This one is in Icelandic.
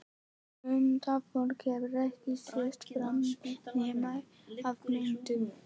Ungt fólk hafði ekki sést þar nema á myndum.